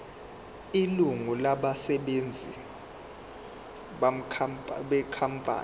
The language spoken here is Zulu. ilungu labasebenzi benkampani